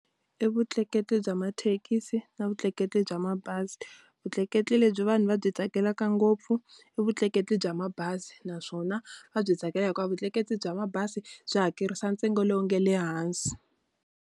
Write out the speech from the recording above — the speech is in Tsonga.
I vutleketli bya mathekisi na vutleketli bya mabazi. Vutleketli lebyi vanhu va byi tsakelaka ngopfu, i vutleketli bya mabazi. Naswona va byi tsakela hikuva vutleketli bya mabazi byi hakerisa ntsengo lowu nga le hansi.